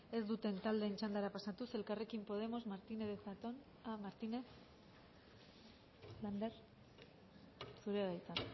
taldeen txandara pasatuz elkarrekin podemos martínez lander zurea da hitza